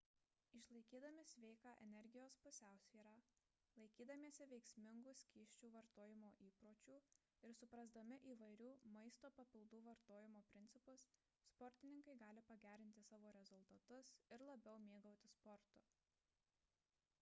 išlaikydami sveiką energijos pusiausvyrą laikydamiesi veiksmingų skysčių vartojimo įpročių ir suprasdami įvairių maisto papildų vartojimo principus sportininkai gali pagerinti savo rezultatus ir labiau mėgautis sportu